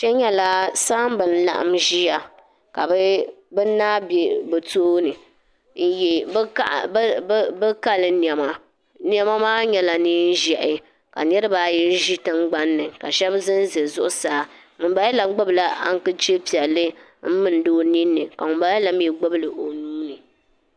Kpe nyɛla saamba n-laɣim ʒiya ka bɛ naa be bɛ tooni n-ye bɛ kali nɛma nɛma maa nyɛla neen' ʒɛhi ka niriba ayi ʒi tiŋɡbani ni ka shɛba za n-za zuɣusaa ŋumbala la ɡbubila aŋkachifu piɛlli m-milindi o ninni ka ŋumbala la mi ɡbubi li o nuu ni